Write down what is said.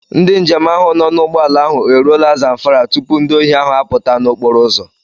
Ndị njem ahụ nọ n'ụgbọala ahụ eruola Zamfara tupu ndị ohi ahụ apụta n'okporoụzọ.